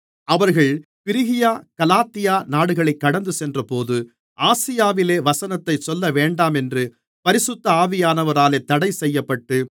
அவர்கள் Phrygia Galatia நாடுகளைக் கடந்துச்சென்றபோது ஆசியாவிலே வசனத்தைச் சொல்லவேண்டாமென்று பரிசுத்த ஆவியானவராலே தடைசெய்யப்பட்டு